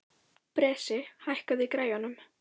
Bresi, hækkaðu í græjunum.